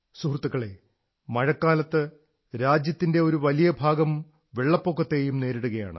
സുഹൃത്തുക്കളേ മഴക്കാലത്ത് രാജ്യത്തിന്റെ ഒരു വലിയ ഭാഗം വെള്ളപ്പൊക്കത്തെയും നേരിടുകയാണ്